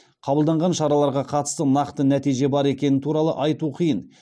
қабылданған шараларға қатысты нақты нәтиже бар екені туралы айту қиын